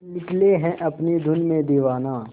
निकले है अपनी धुन में दीवाना